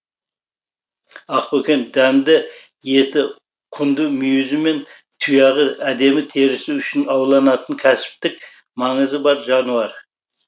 ақбөкен дәмді еті құнды мүйізі мен тұяғы әдемі терісі үшін ауланатын кәсіптік маңызы бар жануар